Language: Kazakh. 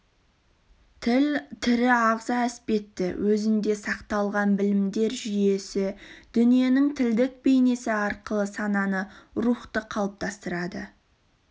тіл тірі ағза іспетті өзінде сақталған білімдер жүйесі дүниенің тілдік бейнесі арқылы сананы рухты қалыптастырады